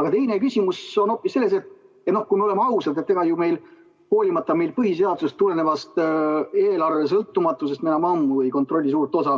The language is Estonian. Aga teine küsimus on hoopis selle kohta, et kui me oleme ausad, siis ega ju me hoolimata põhiseadusest tulenevast eelarve sõltumatusest enam ammu ei kontrolli suurt osa